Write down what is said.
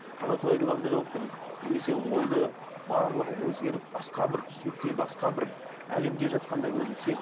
қалай құдайдың алдында жауап беремін немесе ойды барлығы өзгеріп басқа бір түсінікте басқа бір әлемде жатқандай өзін